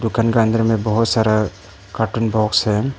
दुकान का अंदर में बहुत सारा कार्टून बॉक्स है।